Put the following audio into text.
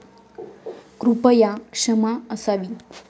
कृपया क्षमा असावी.